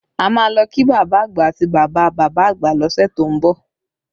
A máa lọ kí bàbá àgbà àti bàbá bàbá àgbà lọ́sẹ̀ tó ń bọ̀